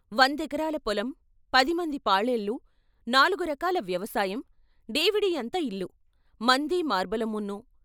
వందెకరాల పొలం, పదిమంది పాలేళ్ళు, నాలుగరకల వ్యవసాయం, డేవిడీ అంత ఇల్లు, మందీ మార్బలమున్నూ.